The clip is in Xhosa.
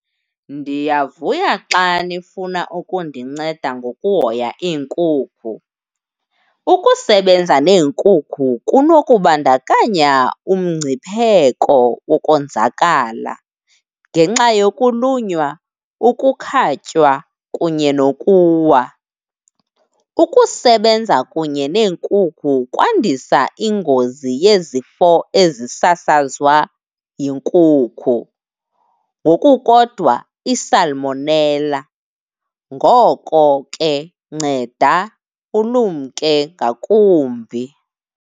Ndiyavuya xa nifuna ukundinceda ngokuhoya iinkukhu. Ukusebenza neenkukhu kunokubandakanya umngcipheko wokonzakala ngenxa yokulunywa, ukukhatywa kunye nokuwa. Ukusebenza kunye neenkukhu kwandisa ingozi yezifo ezisasazwa yinkukhu ngokukodwa isalimonela. Ngoko ke nceda ulumke ngakumbi.